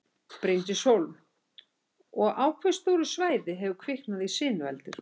Bryndís Hólm: Og á hve stóru svæði hefur kviknað í sinueldur?